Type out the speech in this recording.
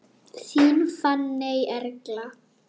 Þín Fanney Erla.